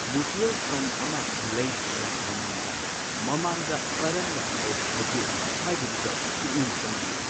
Mutual fund ꯑꯃ ꯂꯩꯗ꯭ꯔꯤꯉꯩ ꯃꯃꯥꯡꯗ, ꯃꯃꯥꯡꯗ ꯀꯔꯝꯅ ꯇꯧꯈꯤꯕꯒꯦ ꯍꯥꯏꯕꯗꯨꯗ ꯄꯨꯛꯅꯤꯡ ꯆꯪꯕꯤꯌꯨ꯫